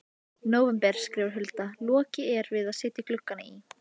nóvember skrifar Hulda: Lokið er við að setja gluggana í.